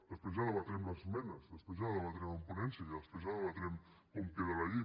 després ja debatrem les esmenes després ja la debatrem en ponència i després ja debatrem com queda la llei